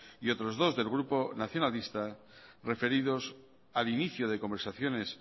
y otros dos del grupo nacionalista referidos al inicio de conversaciones